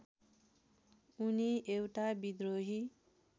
उनी एउटा विद्रोही